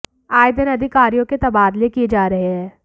आए दिन अधिकारियों के तबादले किए जा रहे है